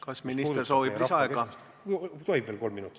Kas minister soovib lisaaega?